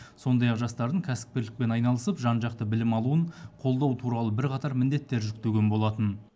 сондай ақ жастардың кәсіпкерлікпен айналысып жан жақты білім алуын қолдау туралы бірқатар міндеттер жүктеген болатын